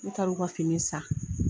U taara u ka fini san